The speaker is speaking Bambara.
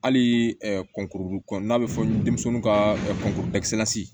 Hali kɔnkuru n'a bɛ fɔ denmisɛnnin ka kɔnkɔ